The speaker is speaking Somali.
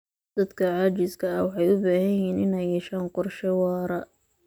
Dadka caajiska ah waxay u baahan yihiin inay yeeshaan qorshe waara.